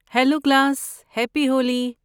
Hello class, happy Holi!